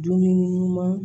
Dumuni ɲuman